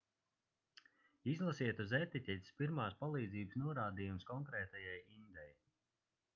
izlasiet uz etiķetes pirmās palīdzības norādījumus konkrētajai indei